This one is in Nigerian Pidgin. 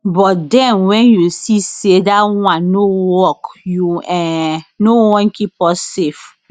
but den wen you see say dat one no work you um no wan keep us safe